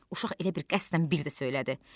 Uşaq elə bil qəsdən bir də söylədi.